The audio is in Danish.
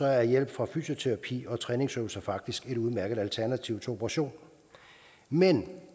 er hjælp fra fysioterapi og træningsøvelser faktisk et udmærket alternativ til operation men